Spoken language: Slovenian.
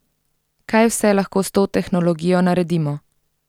Kaj vse lahko s to tehnologijo naredimo?